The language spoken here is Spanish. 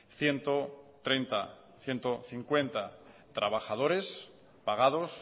ciento treinta ciento cincuenta trabajadores pagados